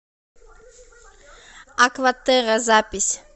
акватерра запись